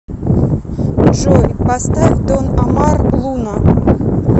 джой поставь дон омар луна